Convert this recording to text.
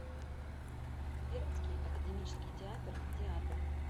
пермский академический театр театр